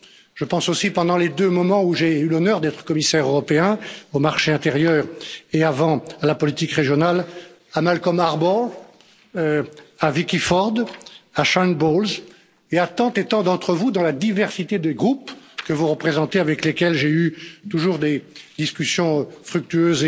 Je pense aussi, aux deux moments où j'ai eu l'honneur d'être commissaire européen au marché intérieur et avant à la politique régionale, à Malcom Harbour, à Vicky Ford, à Sharon Bowles et à tant et tant d'entre vous dans la diversité des groupes que vous représentez, avec lesquels j'ai eu toujours des discussions fructueuses,